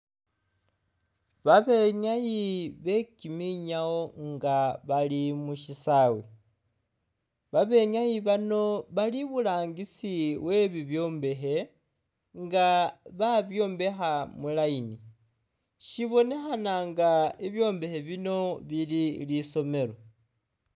Babenyayi be kiminyawo nga bali mu syisaawe, babenyayi bano bali iburangisi we bibyombekhe nga babyombekha mu line, syibonekhana nga ibyombekhe bino bili lisomelo.